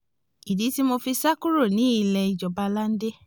ìdí tí mo fi sá kúrò nílé ìjọba lande